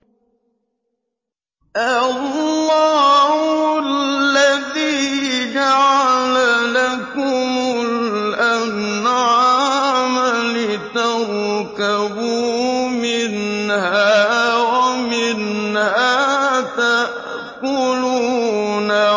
اللَّهُ الَّذِي جَعَلَ لَكُمُ الْأَنْعَامَ لِتَرْكَبُوا مِنْهَا وَمِنْهَا تَأْكُلُونَ